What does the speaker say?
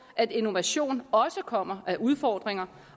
at innovation også kommer af udfordringer